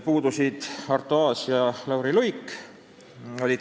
Puudusid Arto Aas ja Lauri Luik.